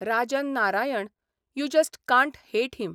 Rajan Narayan you just can't hate him !